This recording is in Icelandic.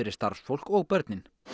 starfsfólk og börn